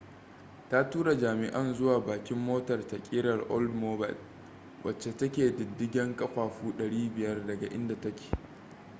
ta tura jami'an zuwa bakin motar ta kerar oldmobile wacce take diddigen kafafu 500 daga inda take